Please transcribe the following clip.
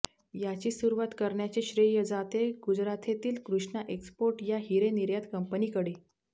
याची सुरवात करण्याचे श्रेय जाते गुजराथेतील कृष्णा एक्स्पोर्ट या हिरे निर्यात कंपनीकडे